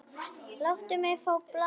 Láttu mig fá blaðið!